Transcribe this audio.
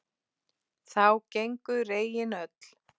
Þá gengu regin öll